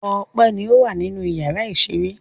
Ọpẹ́ ni ó wà nínú ìyàrá-ìṣeré.